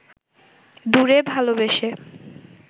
দূরে ভালবেসে